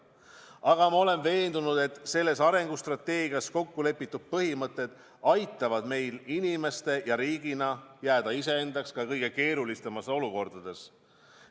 Aga ma olen veendunud, et selles arengustrateegias kokku lepitud põhimõtted aitavad meil inimeste ja riigina jääda iseendaks ka kõige keerulisemates olukordades.